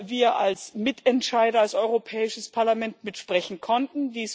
wir als Mitentscheider, als Europäisches Parlament, mitsprechen konnten.